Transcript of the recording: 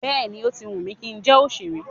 Bẹ́ẹ̀ni, ó ti wù mí kí n jẹ́ òṣèré.